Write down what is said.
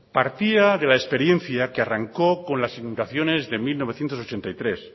partía de la experiencia que arrancó con las inundaciones de mil novecientos ochenta y tres